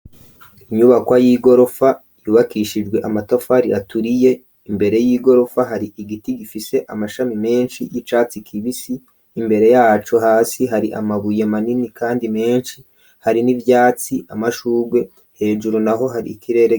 Inyubakwa y'igorofa yubakishijwe amatafaro iaturiye imbere y'igorofa hari igiti gifise amashami menshi y'icatsi kibisi imbere yacu hasi hari amabuye manini, kandi menshi hari n'ivyatsi amashurwe hejuru na ho hari ikirere.